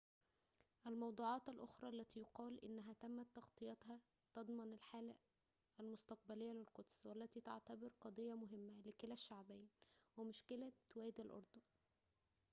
الموضوعات الأخرى التي يُقال أنها تمت تغطيتها تضمن الحالة المستقبلية للقدس والتي تعتبر قضية مهمة لكلا الشعبين ومشكلة وادي الأردن